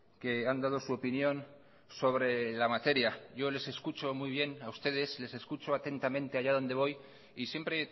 que han dado su opinión sobre la materia yo les escucho muy bien a ustedes les escucho atentamente allá donde voy y siempre